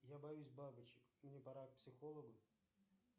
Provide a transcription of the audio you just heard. я боюсь бабочек мне пора к психологу